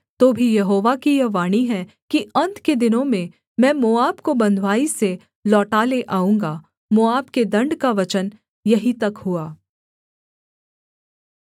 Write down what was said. तो भी यहोवा की यह वाणी है कि अन्त के दिनों में मैं मोआब को बँधुआई से लौटा ले आऊँगा मोआब के दण्ड का वचन यहीं तक हुआ